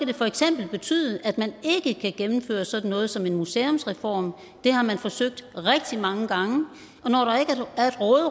det for eksempel betyde at man ikke kan gennemføre sådan noget som en museumsreform det har man forsøgt rigtig mange gange